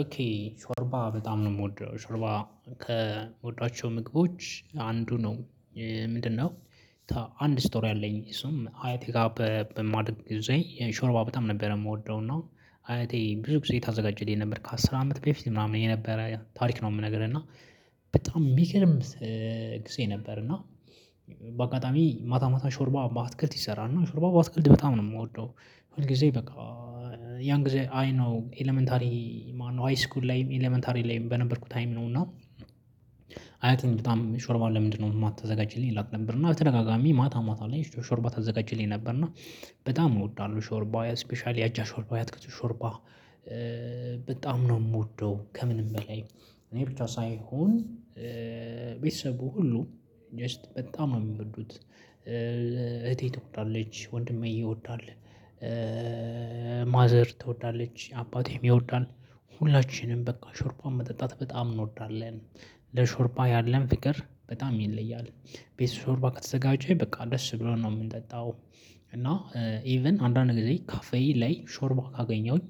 ኦኬ ሾርባ በጣም ነው የምወደው ሾርባ ከምወዳቸው ምግቦች አንዱ ነው። ምንድነው? አንድ ስቶሪ አለኝ እሱም አያቴ ጋር በማድረግ ጊዜ ሾርባ በጣም ነበር የምወደው እና አያቴ ብዙ ጊዜ ታዘጋጅልኝ ነበር ከአስር አመት በፊት ምናምን የነበረ ታሪክ ነው። የምነግርህ እና በጣም ሚገርም ጊዜ ነበር። እና በአጋጣሚ ማታ ማታ ሾርባ በአትክልት ይሰራል እና ሾርባ በአትክልት በጣም ነው የምወደው። ሁል ጊዜ በቃ ያን ጊዜ አይ ነው ኤለመንተሪ ማነው ሃይስኩል ላይም ኤለመንተሪ ላይም በነበርኩ ታይም ነው። እና አያቴም በጣም ሾርማ ለምንድነው ማታዘጋጅልኝ እላት ነበር እና በተደጋጋሚ ማታ ማታ ላይ ሾርባ ታዘጋጅልኝ ነበር። እና በጣም እወዳለሁ። ሾርባ ስፔሻሊ አጃ ሾርባ ያትክልት ሾርባ በጣም ነው የምወደው። ከምንም በላይ እኔ ብቻ ሳይሆን ቤተሰቡ ሁሉ ጀስት በጣም ነው የሚወዱት። እህቴ ትወዳለች ወንድሜ ይወዳል። ማዘር ትወዳለች አባቴም ይወዳል። ሁላችንም በቃ ሾርባን መጠጣት በጣም እንወዳለን። ለሾርባ ያለን ፍቅር በጣም ይለያል። ቤት ሾርባ ከተዘጋጀ በቃ ደስ ብሎን ነው የምንጠጣው። እና አእ ኢቭን አንዳንድ ጊዜ ካፌ ላይ ሾርባ ካገኘሁኝ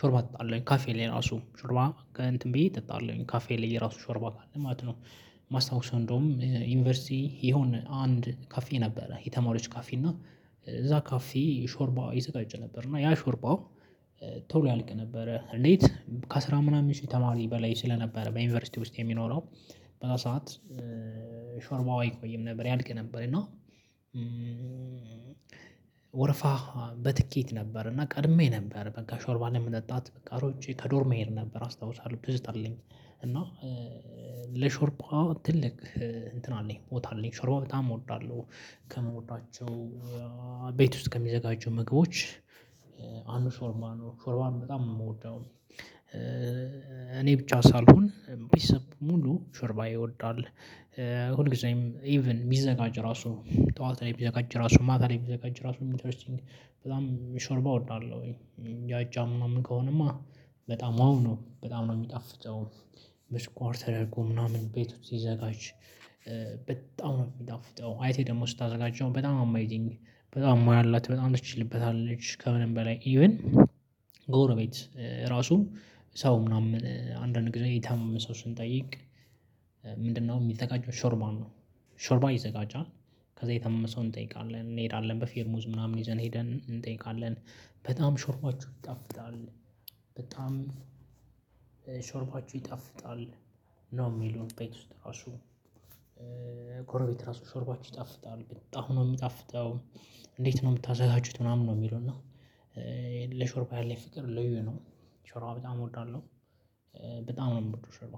ሾርባ ጠጣለሁኝ ካፌ ላይ ራሱ ሾርባ ከእንትን ብዬ እጠጣለሁኝ ካፌ ላይ ራሱ ሾርባ ካለ ማለት ነው። ማስታውሰው እንደውም ዩኒቨርሲቲ የሆነ አንድ ካፌ ነበረ የተማሪዎች ካፌ እና እዛ ካፌ ሾርባ ይዘጋጅ ነበር እና ያ ሾርባው። ቶሎ ያልቅ ነበረ ሌት ከአስራ ምናምን ሺህ ተማሪ በላይ ስለነበረ በዩኒቨርሲቲ ውስጥ የሚኖረው። በዛ ሰዓት ሾርባው አይቆይም ነበር ያልቅ ነበር። እና ወረፋ በትኬት ነበር እና ቀድሜ ነበር በቃ ሾርባ ላይ ለመጠጣት በቃ ሮጬ ከዶርም እሄድ ነበር አስታውሳለሁ ትዝታ አለኝ። እና ለሾርባዋ ትልቅ እንትን አለኝ ቦታ አለኝ ሾርባ በጣም እወዳለሁ። ከምወዳቸው ቤት ውስጥ ከሚዘጋጁ ምግቦች አንዱ ሾርባ ነው ሾርባን በጣም ነው የምወደው። እኔ ብቻ ሳልሆን ቤተሰብ ሙሉ ሾርባ ይወዳል። ሁል ጊዜም ኢቭን ቢዘጋጅ ራሱ ጠዋት ላይ ቢዘጋጅ ራሱ ማታ ላይ ቢዘጋጅ ራሱ ኢንተርስቲንግ በጣም ሾርባ እወዳለሁ። ያጫም ምናምን ከሆነማ በጣም ዋው ነው በጣም ነው የሚጣፍጠው። በስኳር ተደርጎ ምናምን ቤት ውስጥ ሲዘጋጅ በጣም ነው የሚጣፍጠው። አያቴ ደግሞ ስታዘጋጀው በጣም አመዚንግ በጣም ሙያ አላት በጣም ትችልበታለች። ከምንም በላይ ኢቭን ጎረቤት ራሱ ሰው ምናምን አንዳንድ ጊዜ የታመመ ሰው ስንጠይቅ ምንድነው? የሚዘጋጀው ሾርባ ነው። ሾርባ ይዘጋጃል። ከዛ የታመመ ሰው እንጠይቃለን እንሄዳለን በፌርሙዝ ምናምን ይዘን ሄደን እንጠይቃለን። በጣም ሾርባቸው ይጣፍጣል። በጣም ሾርባቸው ይጣፍጣል። ነው የሚሉን ቤት ውስጥ ራሱ ጎረቤት ራሱ ሾርባችሁ ይጣፍጣል በጣም ነው የሚጣፍጠው። እንዴት ነው የምታዘጋጁት? ምናምን ነው የሚለው እና ለሾርባ ያለኝ ፍቅር ልዩ ነው። ሾርባ በጣም እወዳለሁ። በጣም ነው የምወደው ሾርባ።